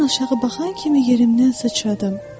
Mən aşağı baxan kimi yerimdən sıçradım.